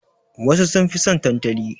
Wasu sun fi son tantali.